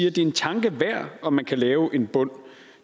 at det er en tanke værd om man kan lave en bund